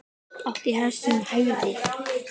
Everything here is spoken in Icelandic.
Átti hest sem hæfði.